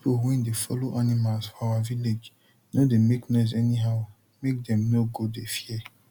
pipo wey dey follow animals for our village no dey make noise anyhow make dem no go dey fear